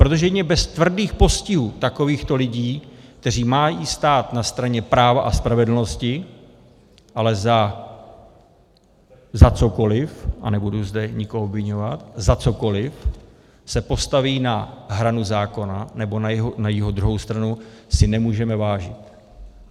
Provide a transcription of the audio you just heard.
Protože jedině bez tvrdých postihů takovýchto lidí, kteří mají stát na straně práva a spravedlnosti, ale za cokoli, a nebudu zde nikoho obviňovat, za cokoli se postaví na hranu zákona nebo na jeho druhou stranu, si nemůžeme vážit.